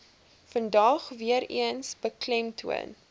vandag weereens beklemtoon